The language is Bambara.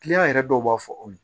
yɛrɛ dɔw b'a fɔ o ye